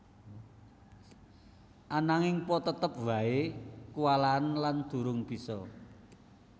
Ananging Po tetep wae kuwalahen lan durung bisa